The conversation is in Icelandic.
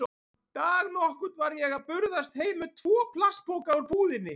Dag nokkurn var ég að burðast heim með tvo plastpoka úr búðinni.